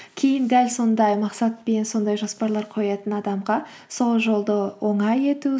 кейін дәл сондай мақсат пен сондай жаспарлар қоятын адамға сол жолды оңай ету